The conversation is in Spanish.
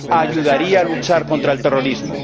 Ayudaría a luchar contra el terrorismo.